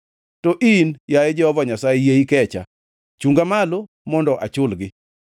To in, yaye Jehova Nyasaye, yie ikecha; chunga malo, mondo achulgi.